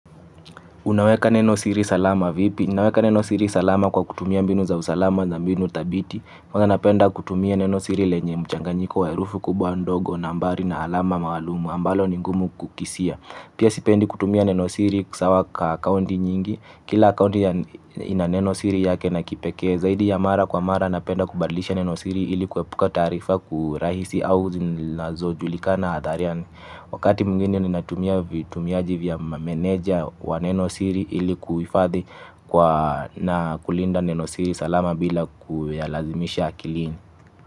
Unaweka neno siri salama vipi? Naweka neno siri salama kwa kutumia mbinu za usalama za mbinu dhabiti. Huwa napenda kutumia neno siri lenye mchanganyiko wa herufi kubwa, ndogo, nambari, alama maalum ambalo ni ngumu kukisia. Pia sipendi kutumia neno siri sawa kwa akaunti nyingi. Kila akaunti ina neno siri yake na kipekee. Zaidi ya mara kwa mara napenda kubadilisha neno siri ili kuepuka taarifa kiurahisi au zinazojulikana hadharani. Wakati mwingine ninatumia vitumiaji vya meneja wa nenosiri ili kuhifadhi kwa na kulinda nenosiri salama bila kuyalazimisha akilini.